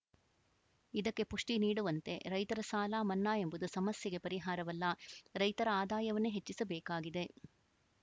ಇದಕ್ಕೆ ಪುಷ್ಟಿನೀಡುವಂತೆ ರೈತರ ಸಾಲ ಮನ್ನಾ ಎಂಬುದು ಸಮಸ್ಯೆಗೆ ಪರಿಹಾರವಲ್ಲ ರೈತರ ಆದಾಯವನ್ನೇ ಹೆಚ್ಚಿಸಬೇಕಾಗಿದೆ